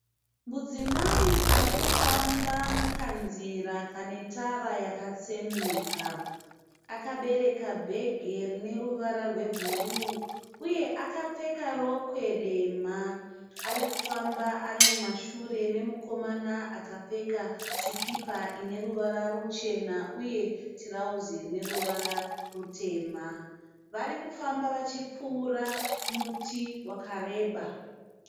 Mudzimai arikufamba mukanzira kane tara yakatsemuka. Akabereka bhegi rine ruvara rwebhuruu uye akapfeka rokwe dema. Arikufamba ari mumashure memukomana akapfeka sipika ine ruvara ruchena uye tirauzi rine ruvara rutema. Varikufamba vachipfuura muti wakareba